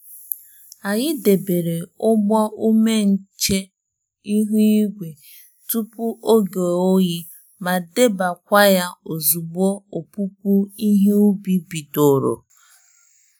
Anyị debere ụgbọ ume nche ihu igwe tupu oge oyi ma debekwaya ozugbo opupu ihe ubi bidoro.